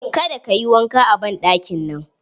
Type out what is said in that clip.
Ka da ka yi wanka a banɗakin nan!